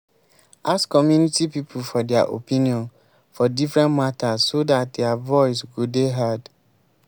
ask community pipo for their opinion for different matters so dat their voice go dey heard